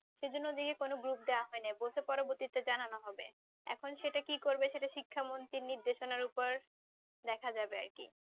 সেই জন্যে ওদেরকে কোনও group দেওয়া হইনি। বলছে পরবর্তীতে জানানো হবে। এখন সেটা কি করবে সেটা শিক্ষামন্ত্রী নির্দেশনার ওপর দেখা যাবে আর কি।